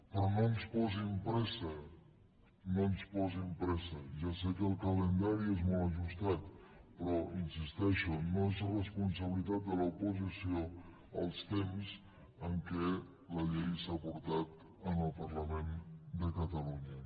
però no ens posin pressa no ens posin pressa ja sé que el calendari és molt ajustat però hi insisteixo no són responsabilitat de l’oposició els temps en què la llei s’ha portat al parlament de catalunya